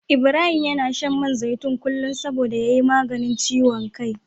Ibrahim yana shan man zaitun kullum saboda ya yi maganin ciwon kai.